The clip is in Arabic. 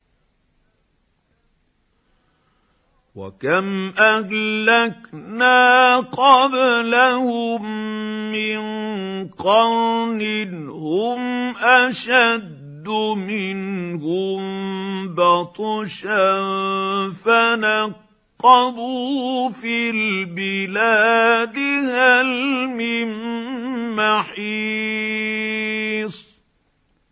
وَكَمْ أَهْلَكْنَا قَبْلَهُم مِّن قَرْنٍ هُمْ أَشَدُّ مِنْهُم بَطْشًا فَنَقَّبُوا فِي الْبِلَادِ هَلْ مِن مَّحِيصٍ